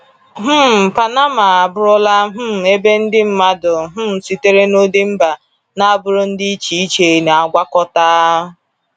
um Panama abụrụla um ebe ndị mmadụ um sitere n’ụdị mba na agbụrụ dị iche iche na-agwakọta.